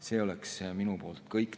See on minu poolt kõik.